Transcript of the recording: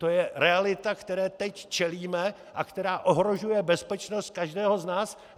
To je realita, které teď čelíme a která ohrožuje bezpečnost každého z nás.